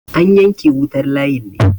an yanke wutar layin ne?